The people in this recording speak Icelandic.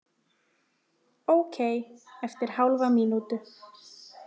Ókei eftir hálfa mínútu.